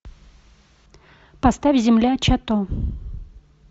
поставь земля чато